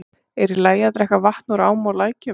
Er í lagi að drekka vatn úr ám og lækjum?